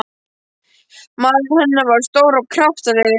Maðurinn hennar var stór og kraftalegur.